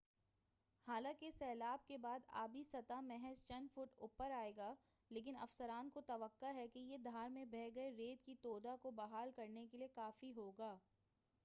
حالانکہ سیلاب کے بعد آبی سطح محض چند فٹ اوپر آئے گا لیکن افسران کو توقع ہے کہ یہ دھار میں بہہ گئے ریت کے تودہ کو بحال کرنے کیلئے کافی ہوگا